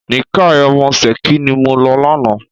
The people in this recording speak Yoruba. Nìkáì ọmọ Ṣẹ̀kí ni mo lọ lánàá.